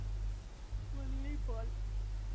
only பால்